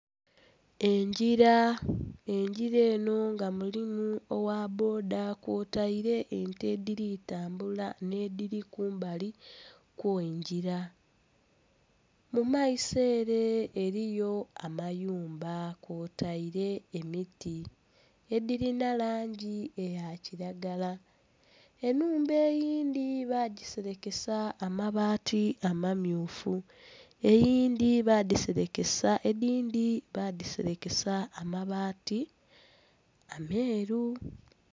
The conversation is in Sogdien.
Engira, engira eno nga mulimu owa bboda kwotaire ente ediri tambula n'ediri kumbali kw'engira. Mu maiso ere eriyo amayumba kwotaire emiti edirina langi eya kiragala. Enhumba eyindhi bagiserekesa amabaati amamyufu, eyindhi bagiserekesa... edhindi badiserekesa amabaati ameeru